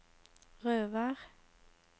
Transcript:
Røvær